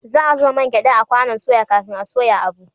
Za a zuba man gyada a kwanon soya kafin a soya abu